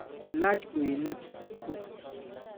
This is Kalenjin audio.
Ilach kweinik kuk.